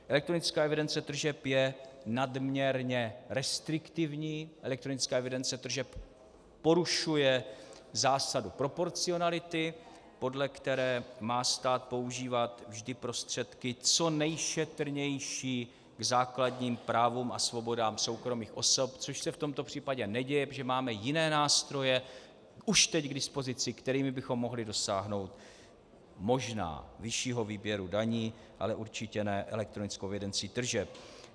Elektronická evidence tržeb je nadměrně restriktivní, elektronická evidence tržeb porušuje zásadu proporcionality, podle které má stát používat vždy prostředky co nejšetrnější k základním právům a svobodám soukromých osob, což se v tomto případě neděje, protože máme jiné nástroje už teď k dispozici, kterými bychom mohli dosáhnout, možná, vyššího výběru daní, ale určitě ne elektronickou evidencí tržeb.